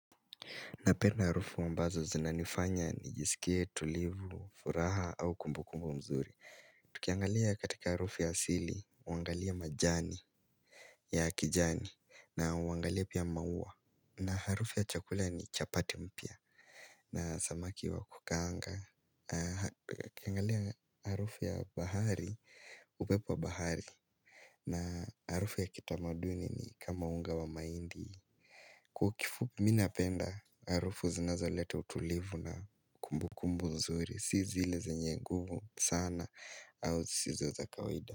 Napenda harufu ambazo zinanifanya nijisikie tulivu, furaha au kumbukumbu mzuri. Tukiangalia katika harufu ya asili, uangalie majani ya kijani na uangalie pia maua. Na harufu ya chakula ni chapati mpya na samaki wa kukaanga. Tukiangalia harufu ya bahari, upepo wa bahari na harufu ya kitamaduni ni kama unga wa mahindi. Kwa kifupi mimi napenda harufu zinazoleta utulivu na kumbu kumbu nzuri Si zile zenye nguvu sana au zisizo za kawaida.